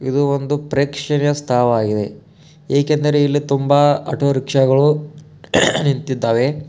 ಇದು ಒಂದು ಪ್ರೇಕ್ಷಣೀಯ ಸ್ಥಳವಾಗಿದೆ. ಏಕೆಂದರೆ ಇಲ್ಲಿ ತುಂಬಾ ಆಟೋ ರಿಕ್ಷಾಗಳು ಹೇ ಹೇ ನಿಂತಿದ್ದಾವೆ.